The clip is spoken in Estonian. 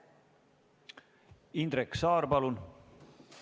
Indrek Saar, palun!